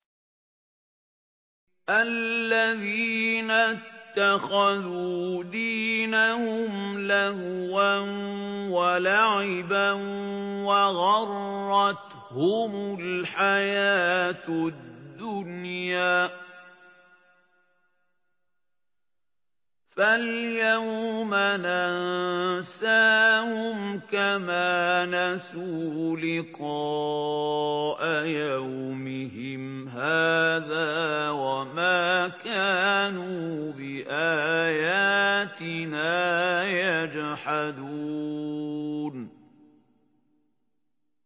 الَّذِينَ اتَّخَذُوا دِينَهُمْ لَهْوًا وَلَعِبًا وَغَرَّتْهُمُ الْحَيَاةُ الدُّنْيَا ۚ فَالْيَوْمَ نَنسَاهُمْ كَمَا نَسُوا لِقَاءَ يَوْمِهِمْ هَٰذَا وَمَا كَانُوا بِآيَاتِنَا يَجْحَدُونَ